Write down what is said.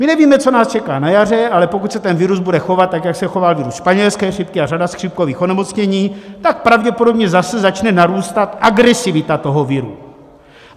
My nevíme, co nás čeká na jaře, ale pokud se ten virus bude chovat tak, jak se choval virus španělské chřipky a řada chřipkových onemocnění, tak pravděpodobně zase začne narůstat agresivita toho viru.